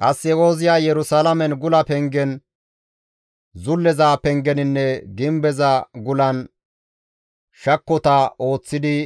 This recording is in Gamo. Qasse Ooziyay Yerusalaamen gula pengen, zulleza pengeninne gimbeza gulan shakkota ooththidi